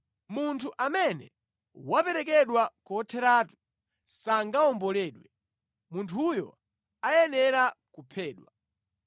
“ ‘Munthu amene waperekedwa kotheratu sangawomboledwe. Munthuyo ayenera kuphedwa.